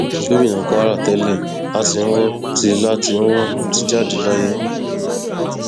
gomina kwara tẹlẹ látìnwò ti látìnwò ti jáde láyé